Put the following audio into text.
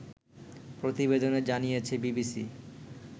প্রতিবেদনে জানিয়েছে বিবিসি